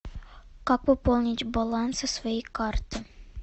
как пополнить баланс со своей карты